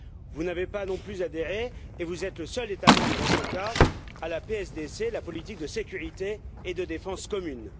Vous n'avez pas non plus adhéré, et vous êtes le seul État membre dans ce cas, à la PSDC, la politique de sécurité et de défense commune.